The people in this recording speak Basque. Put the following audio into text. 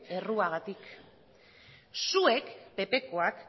erruagatik zuek ppkoak